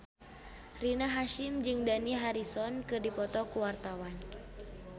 Rina Hasyim jeung Dani Harrison keur dipoto ku wartawan